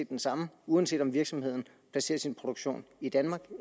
den samme uanset om virksomheden placerer sin produktion i danmark